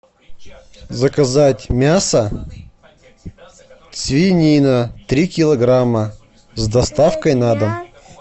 заказать мясо свинина три килограмма с доставкой на дом